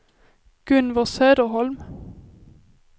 Gunvor Söderholm